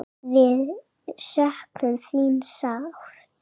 Við söknum þín sárt.